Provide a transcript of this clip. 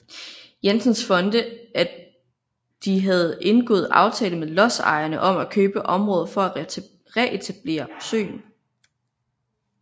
Jensens Fonde at de havde indgået aftale med lodsejerne om at købe området for at retablere søen